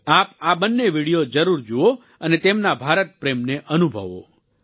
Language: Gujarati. આપ આ બંને વીડિયો જરૂર જુઓ અને તેમના ભારત પ્રેમને અનુભવો